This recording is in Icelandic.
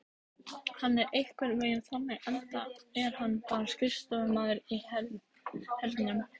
Hann er einhvern veginn þannig enda er hann bara skrifstofumaður í hernum.